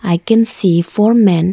I can see four men.